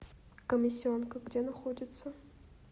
комиссионка где находится